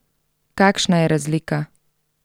Kakšna je razlika?